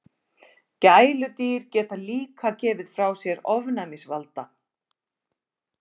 Gæludýr geta líka gefið frá sér ofnæmisvalda.